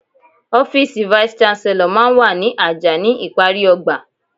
Ọ́fíìsì vice-Chancellor máa ń wà ní àjà ní ìparí ọgbà.